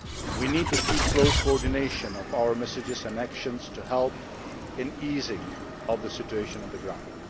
We need to maintain close coordination of our messages and our actions to help in easing the situation on the ground.